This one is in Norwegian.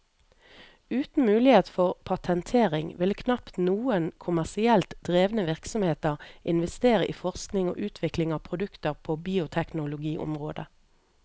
Uten mulighet for patentering ville knapt noen kommersielt drevne virksomheter investere i forskning og utvikling av produkter på bioteknologiområdet.